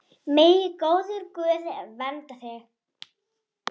Megi góður Guð vernda þig.